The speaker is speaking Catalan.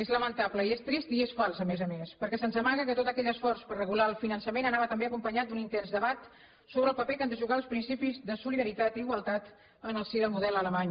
és lamentable i és trist i és fals a més a més perquè se’ns amaga que tot aquell esforç per regular el finançament anava també acompanyat d’un intens debat sobre el paper que han de jugar els principis de solidaritat i igualtat en el si del model alemany